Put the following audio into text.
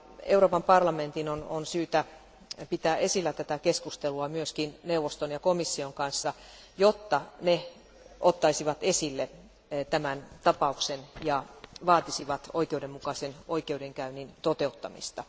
Euroopan parlamentin on syytä pitää esillä tätä keskustelua myös neuvoston ja komission kanssa, jotta ne ottaisivat esille tämän tapauksen ja vaatisivat oikeudenmukaisen oikeudenkäynnin toteuttamista.